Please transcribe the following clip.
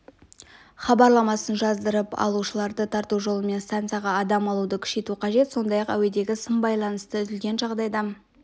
хабарламасын жаздырып алушыларды тарту жолымен станцияға адам алуды күшейту қажет сондай-ақ әуедегі сым байланысы үзілген жағдайда